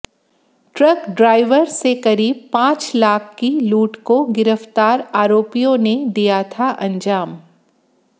truck driver से करीब पांच लाख की लूट को गिरफ्तार आरोपियों ने दिया था अंजाम